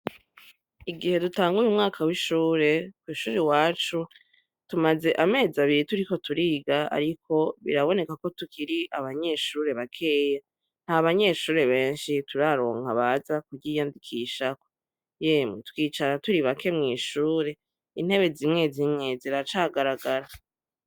Igihe dutanguye umwaka w'ishure, kw'ishure iwacu tumaz iminsi turiko turiga ariko birabonekako ko turi abanyeshure bakeya, n'abanyeshure benshi turaronka baza kuhiyandikisha ,yemwe twicara turi bake mw'ishure, intebe zimwe zimwe ziracagaragara.